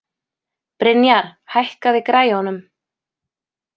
Brynjar, hækkaðu í græjunum.